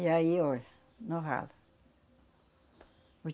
E aí, olha, no ralo.